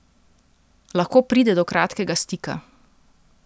Lahko pride do kratkega stika.